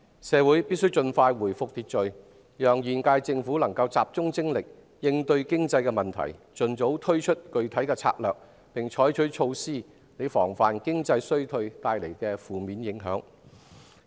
社會必須盡快回復秩序，讓現屆政府集中精力應對經濟問題，盡早推出具體策略，並採取措施防範經濟衰退帶來的負面影響。